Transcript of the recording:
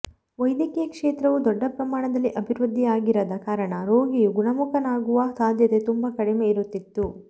ವೈದ್ಯಕೀಯ ಕ್ಷೇತ್ರವು ದೊಡ್ಡ ಪ್ರಮಾಣದಲ್ಲಿ ಅಭಿವೃದ್ಧಿಯಾಗಿರದ ಕಾರಣ ರೋಗಿಯು ಗುಣಮುಖನಾಗುವ ಸಾಧ್ಯತೆ ತುಂಬಾ ಕಡಿಮೆ ಇರುತಿತ್ತು